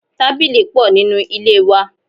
Tábìlì pò nínú ilé wa.